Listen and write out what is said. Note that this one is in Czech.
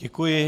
Děkuji.